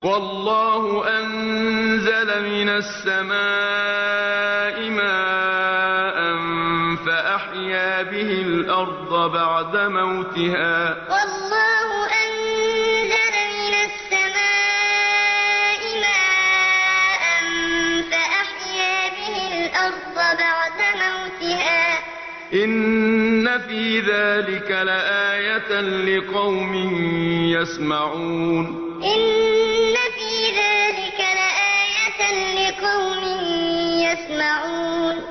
وَاللَّهُ أَنزَلَ مِنَ السَّمَاءِ مَاءً فَأَحْيَا بِهِ الْأَرْضَ بَعْدَ مَوْتِهَا ۚ إِنَّ فِي ذَٰلِكَ لَآيَةً لِّقَوْمٍ يَسْمَعُونَ وَاللَّهُ أَنزَلَ مِنَ السَّمَاءِ مَاءً فَأَحْيَا بِهِ الْأَرْضَ بَعْدَ مَوْتِهَا ۚ إِنَّ فِي ذَٰلِكَ لَآيَةً لِّقَوْمٍ يَسْمَعُونَ